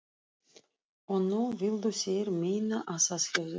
Og nú vildu þeir meina að það hefðu verið